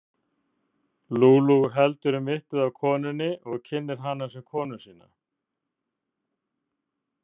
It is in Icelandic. Lulu heldur um mittið á konunni og kynnir hana sem konu sína.